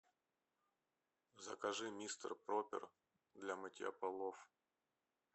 закажи мистер пропер для мытья полов